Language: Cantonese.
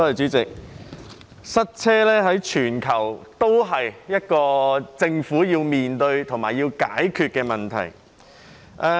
主席，塞車是一個全球政府均要面對及解決的問題。